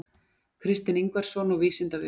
Kristinn Ingvarsson og Vísindavefurinn.